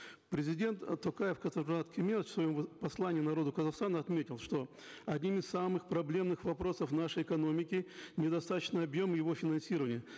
президент э токаев касым жомарт кемелевич в своем послании народу казахстана отметил что одним из самых проблемных вопросов нашей экономики недостаточный объем его финансирования